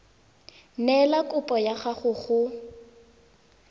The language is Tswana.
neela kopo ya gago go